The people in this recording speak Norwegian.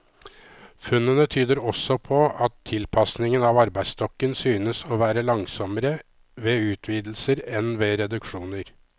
Funnene tyder også på at tilpasningen av arbeidsstokken synes å være langsommere ved utvidelser enn ved reduksjoner.